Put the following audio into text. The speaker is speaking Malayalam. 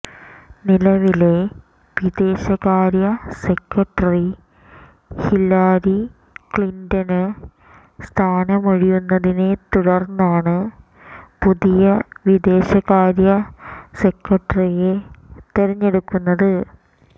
നിലവിലെ വിദേശകാര്യ സെക്രട്ടറി ഹില്ലരി ക്ലിന്റണ് സ്ഥാനമൊഴിയുന്നതിനെ തുടര്ന്നാണ് പുതിയ വിദേശകാര്യ സെക്രട്ടറിയെ തെരഞ്ഞെടുക്കുന്നത്